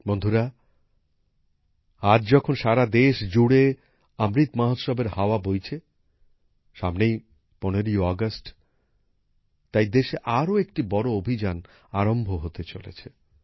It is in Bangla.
বন্ধুরা আজ যখন সারা দেশ জুড়ে অমৃত মহোৎসবের হাওয়া বইছে সামনেই ১৫ই আগস্ট তাই দেশে আরো একটি বড় অভিযান আরম্ভ হতে চলেছে